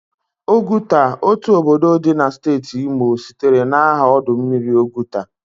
Oguta, otu obodo di na steeti Imo sitere na aha ọdụ mmiri Ọgụta.